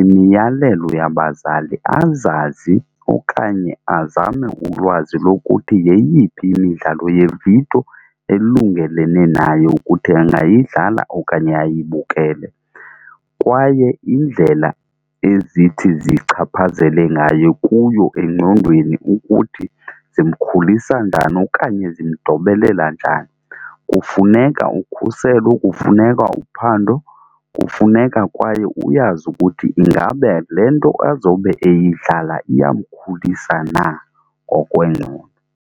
imiyalelo yabazali azazi okanye azame ulwazi lokuthi yeyiphi imidlalo yeevidiyo elungelene nayo ukuthi angayidlala okanye ayibukele. Kwaye iindlela ezithi zichaphazele ngayo kuyo engqondweni ukuthi zimkhulisa njani okanye zimdobelela njani. Kufuneka ukhuselo, kufuneka uphando, kufuneka kwaye uyazi ukuthi ingaba le nto azobe eyidlala iyamkhulisa na ngokwengqondo.